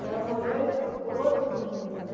Que ela molhou e colou tudo o livro, né?